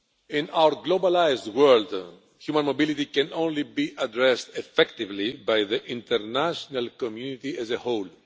In our globalised world, human mobility can only be addressed effectively by the international community as a whole.